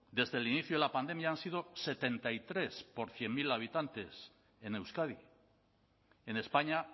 desde el inicio de la pandemia han sido setenta y tres por cien mil habitantes en euskadi en españa